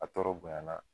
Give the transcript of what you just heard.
A tɔɔrɔ bonya na